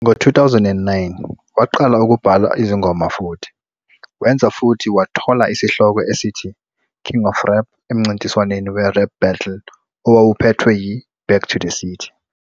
Ngo-2009, waqala ukubhala izingoma futhi wenza futhi wathola isihloko esithi King of Rap emncintiswaneni weRap Battle owawuphethwe yiBack to the City.